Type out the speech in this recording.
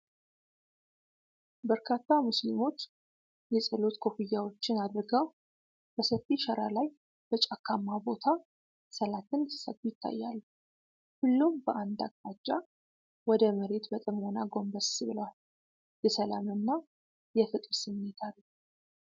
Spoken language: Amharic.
በርካታ ሙስሊሞች የጸሎት ኮፍያዎችን አድርገው፣ በሰፊ ሸራ ላይ በጫካማ ቦታ ሰላትን ሲሰግዱ ይታያሉ። ሁሉም በአንድ አቅጣጫ ወደ መሬት በጥሞና ጎንበስ ብለዋል። የሰላም እና የፍቅር ስሜት አለው።